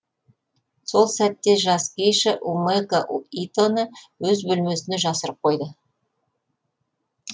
сол сәтте жас гейша умэко итоны өз бөлмесіне жасырып қойды